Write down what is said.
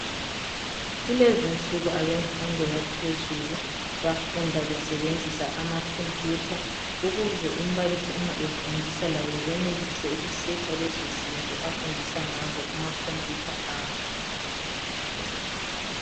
Kulezinsuku abemfundo yaphezulu bafunda besebenzisa amakhompuyutha ukuze umbalisi uma efundisa labo benelise uku "searcher" lezo zinto afundisa ngazo kumakhompuyutha abo.